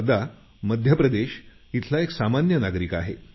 हदरा मध्य प्रदेश इथला एक सामान्य नागरिक आहे